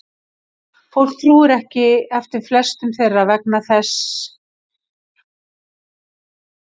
Fólk tók ekki eftir flestum þeirra vegna þess hversu lítil áhrif þeir höfðu.